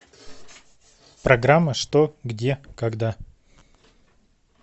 программа что где когда